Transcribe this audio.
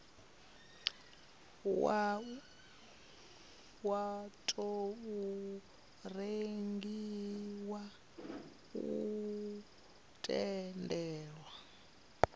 wa tou rengiwa u tendela